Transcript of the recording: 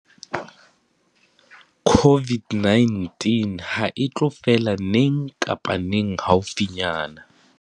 COVID-19 hae tlo fela neng kapa neng haufinyana.